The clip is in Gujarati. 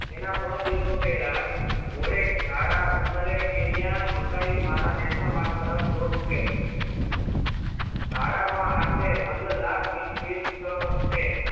તેના થોડા દિવસો પેહલા કોરે ઘાડા ઉતરે કે ન્યા મસાઈ મારા national માર્ગ તરફ દોટ મૂકે છે હાડા માં આશરે પંદર લાખ વિશ વિશ છે